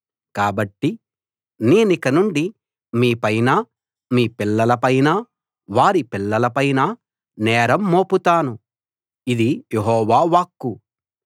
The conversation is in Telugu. కాబట్టి నేనికనుండి మీపైనా మీ పిల్లల పైనా వారి పిల్లల పైనా నేరం మోపుతాను ఇది యెహోవా వాక్కు